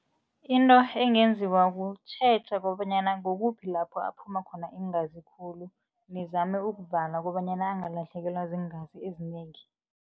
Into engenziwa kutjheja kobanyana kukuphi lapho aphuma khona iingazi khulu, nizame ukuvala kobanyana angalahlekelwa ziingazi ezinengi.